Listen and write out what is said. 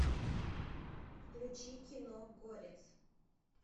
включи кино горец